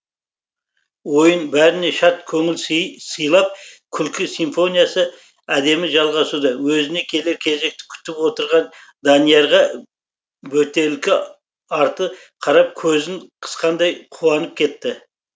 ойын бәріне шат көңіл сыйлап күлкі симфониясы әдемі жалғасуда өзіне келер кезекті күтіп отырған даниярға бөтелкі арты қарап көзін қысқандай қуанып кетті